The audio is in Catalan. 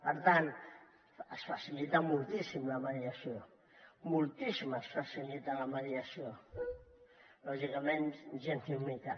per tant es facilita moltíssim la mediació moltíssim es facilita la mediació lògicament gens ni mica